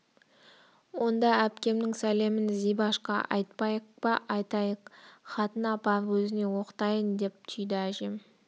онда әпкемнің сәлемін зибашқа айтпайық па айтайық хатын апарып өзіне оқытайын деп түйді әжем